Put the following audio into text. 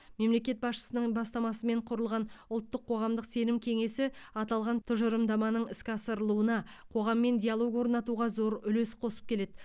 мемлекет басшысының бастамасымен құрылған ұлттық қоғамдық сенім кеңесі аталған тұжырымдаманың іске асырылуына қоғаммен диалог орнатуға зор үлес қосып келеді